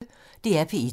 DR P1